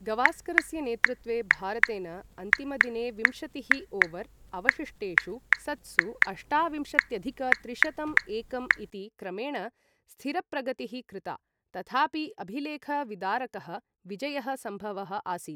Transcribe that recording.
गवास्करस्य नेतृत्वे, भारतेन अन्तिमदिने विंशतिः ओवर् अवशिष्टेषु सत्सु अष्टाविंशत्यधिक त्रिशतं एकं इति क्रमेण स्थिरप्रगतिः कृता, तथापि अभिलेख विदारकः विजयः सम्भवः आसीत्।